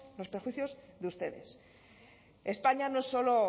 los prejuicios de ustedes españa no solo